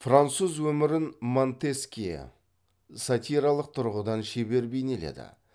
француз өмірін монтескье сатиралық тұрғыдан шебер бейнеледі